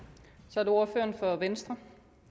så er det ordføreren for venstre